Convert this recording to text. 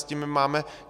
S tím my máme...